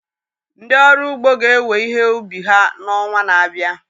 Ndị ọrụ ugbo ga ewe ihe ubi ha n'onwa na-abịa.